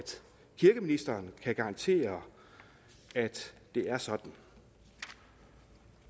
kirkeministeren kan garantere at det er sådan